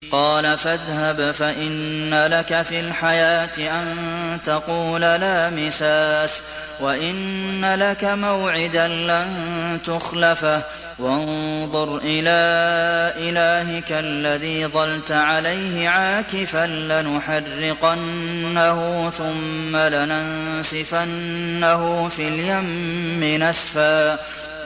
قَالَ فَاذْهَبْ فَإِنَّ لَكَ فِي الْحَيَاةِ أَن تَقُولَ لَا مِسَاسَ ۖ وَإِنَّ لَكَ مَوْعِدًا لَّن تُخْلَفَهُ ۖ وَانظُرْ إِلَىٰ إِلَٰهِكَ الَّذِي ظَلْتَ عَلَيْهِ عَاكِفًا ۖ لَّنُحَرِّقَنَّهُ ثُمَّ لَنَنسِفَنَّهُ فِي الْيَمِّ نَسْفًا